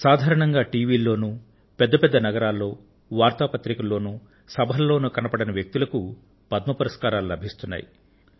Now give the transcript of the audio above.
సాధారణంగా టీవీలలో పెద్ద పెద్ద నగరాలలో వార్తాపత్రికలలో సభలలో కనబడని వ్యక్తులకు పద్మ పురస్కారాలు లభిస్తున్నాయి